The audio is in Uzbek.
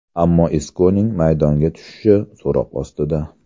Ammo Iskoning maydonga tushishi so‘roq ostida.